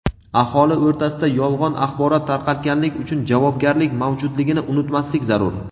Aholi o‘rtasida yolg‘on axborot tarqatganlik uchun javobgarlik mavjudligini unutmaslik zarur.